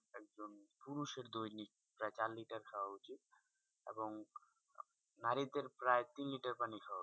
পুরুষের দৈনিক প্রায় চার লিটার খাওয়া উচিত এবং নারীদের প্রায় তিন লিটার পানি খাওয়া উচিৎ।